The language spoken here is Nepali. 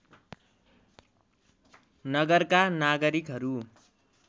नगरका नागरिकहरू